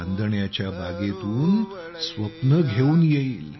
चांदण्याच्या बागेतून स्वप्ने घेऊन येईल